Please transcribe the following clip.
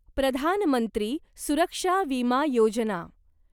प्रधान मंत्री सुरक्षा विमा योजना